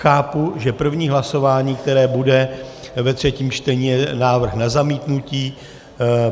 Chápu, že první hlasování, které bude ve třetím čtení, je návrh na zamítnutí.